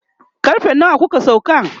karfe nawa kuka sauka?